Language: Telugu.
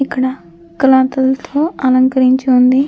ఇక్కడ క్లాతులతో అలంకరించి ఉంది.